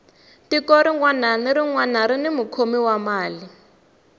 tiko rinwani na rinwani rini mukhomi wa mali